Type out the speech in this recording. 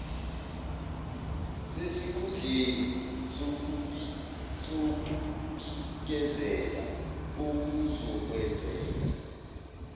sesikhundleni sokubikezela okuzokwenzeka